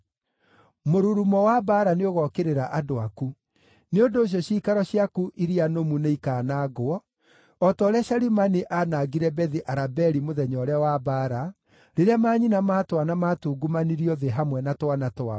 mũrurumo wa mbaara nĩũgokĩrĩra andũ aku. Nĩ ũndũ ũcio ciikaro ciaku iria nũmu nĩikaanangwo, o ta ũrĩa Shalimani aanangire Bethi-Arabeli mũthenya ũrĩa wa mbaara, rĩrĩa manyina ma twana maatungumanirio thĩ hamwe na twana twao.